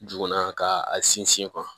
Juguman ka a sinsin